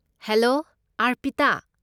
Hello, Arpita.